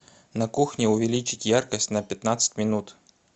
на кухне увеличить яркость на пятнадцать минут